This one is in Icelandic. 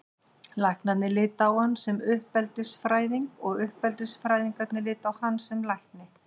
Læknarnir litu á hann sem uppeldisfræðing og uppeldisfræðingarnir litu á hann sem lækni.